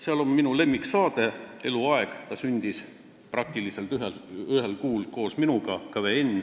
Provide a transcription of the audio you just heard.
Seal on minu lemmiksaade, mis sündis minuga ühel kuul, "KVN".